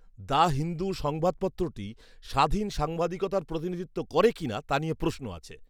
The Hindu সংবাদপত্রটি স্বাধীন সাংবাদিকতার প্রতিনিধিত্ব করে কি না, তা নিয়ে প্রশ্ন আছে।